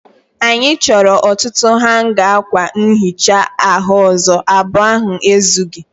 Anyị chọrọ ọtụtụ hanga akwa nhicha ahu ọzọ. Abụọ ahụ ezughị.